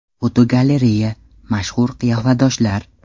Fotogalereya: Mashhur qiyofadoshlar.